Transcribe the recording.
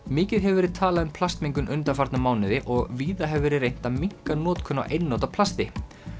mikið hefur verið talað um plastmengun undanfarna mánuði og víða hefur verið reynt að minnka notkun á einnota plasti